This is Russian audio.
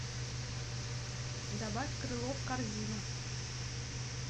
добавь крыло в корзину